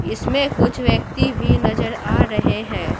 इसमें कुछ व्यक्ति भी नजर आ रहे हैं।